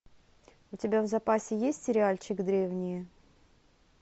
у тебя в запасе есть сериальчик древние